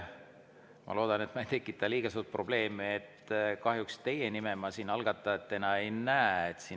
Ma loodan, et ma ei tekita liiga suurt probleemi, aga kahjuks teie nime ma siin algatajana ei näe.